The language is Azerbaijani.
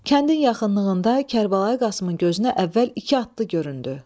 Kəndin yaxınlığında Kərbəlayi Qasımın gözünə əvvəl iki atlı göründü.